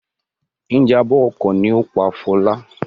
Ìjàmbá ọkọ̀ ni ó pa Fọlá.